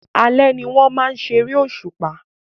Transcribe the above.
Alẹ́ ni wọ́n máa ń ṣeré òṣùpá